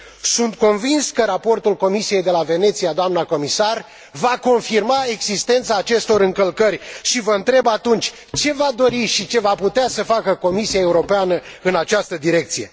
Sunt convins că raportul Comisiei de la Veneția, doamna comisar, va confirma existența acestor încălcări și vă întreb atunci ce va dori și ce va putea să facă Comisia Europeană în această direcție?